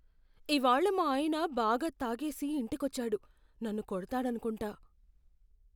ఇవాళ్ళ మా ఆయన బాగా తాగేసి ఇంటికొచ్చాడు. నన్ను కొడతాడనుకుంటా.